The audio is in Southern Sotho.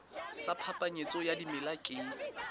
sa phapanyetso ya dimela ke